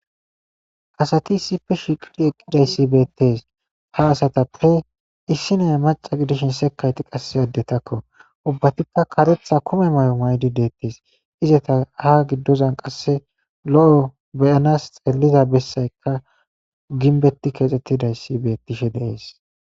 asati issife shiqidi eqqidayssi beettes ha asatappe issi neya maca gidishin sekayti qasse addetakko ubbatikka karetha kume mayo maydi deettes izata ha giddozan qasse lo'o beyanas xelliza bessaykka ginbetti keexxettidayssi bettishe de'ees